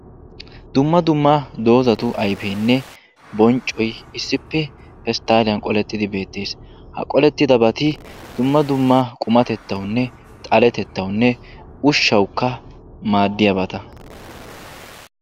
dumma dumma doozzati ayfenne bonccoy issippe pesttaliyan qolettidi beettees. ha qollettidabati dumma dumma qumatettawunne xaletettawunne ushshawukka maaddiyaabata.